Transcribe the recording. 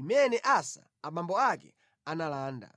imene Asa abambo ake analanda.